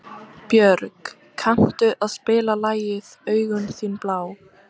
Björg, kanntu að spila lagið „Augun þín blá“?